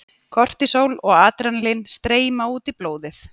Kortisól og adrenalín streyma út í blóðið.